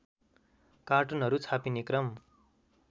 कार्टुनहरू छापिने क्रम